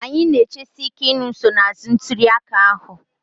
Anyị na-echesi ike ịnụ nsonaazụ ntuli aka ahụ